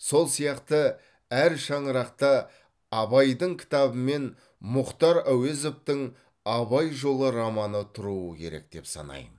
сол сияқты әр шаңырақта абайдың кітабы мен мұхтар әуезовтің абай жолы романы тұруы керек деп санаймын